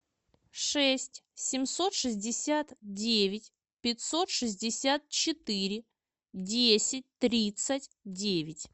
шесть семьсот шестьдесят девять пятьсот шестьдесят четыре десять тридцать девять